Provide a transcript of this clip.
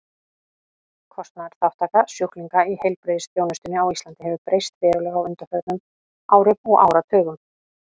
Kostnaðarþátttaka sjúklinga í heilbrigðisþjónustunni á Íslandi hefur breyst verulega á undanförnum árum og áratugum.